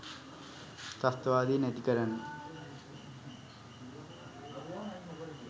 ත්‍රස්තවාදය නැති කරන්න